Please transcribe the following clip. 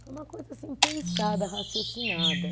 Foi uma coisa assim, pensada, raciocinada.